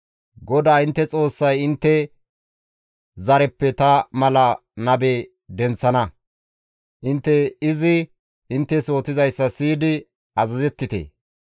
GODAA intte Xoossay intte zareppe ta mala nabe denththana; intte izi inttes yootizayssa siyidi azazettite.